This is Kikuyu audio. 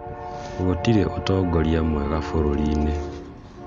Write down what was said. gũtirĩ ũtongoria mwega bũrũri-inĩ